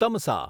Tamasa